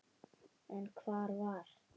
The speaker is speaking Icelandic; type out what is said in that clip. En hvar var